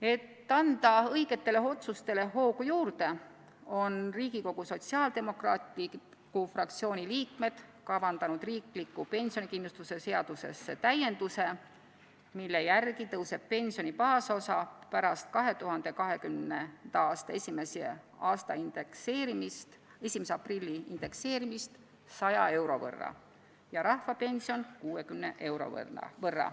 Et anda õigetele otsustele hoogu juurde, on Riigikogu Sotsiaaldemokraatliku Erakonna fraktsiooni liikmed kavandanud riikliku pensionikindlustuse seadusesse täienduse, mille järgi tõuseb pensioni baasosa pärast 2020. aasta 1. aprilli indekseerimist 100 euro võrra ja rahvapension 60 euro võrra.